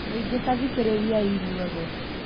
Mũingĩ tathikĩrĩriai inyuothe